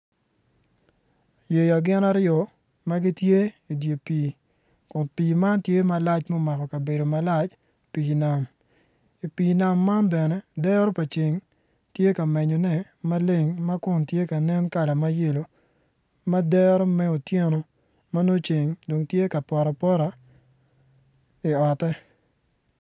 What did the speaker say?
Yeya gin aryo ma gitye idye pii kun pii man tye malac ma omako kabedo malac pii nam i pii nam man bene dero pa ceng tye ka menyone ma leng ma kun tye kala ma yelo ma dero me otyeno ma nongo ceng dong tye ka poto apota i ote.